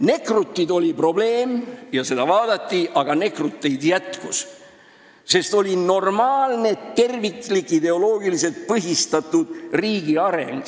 Nekrutid oli probleem, mida vaadati, aga nekruteid jätkus, sest siis oli normaalne, terviklik, ideoloogiliselt põhistatud riigi areng.